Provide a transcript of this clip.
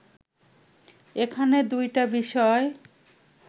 এখানে দুইটা বিষয়